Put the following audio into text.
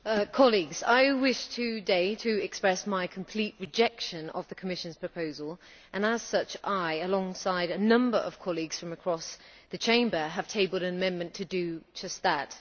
Madam President, colleagues, I wish today to express my complete rejection of the Commission's proposal, and as such I, alongside a number of colleagues from across the Chamber, have tabled an amendment to do just that.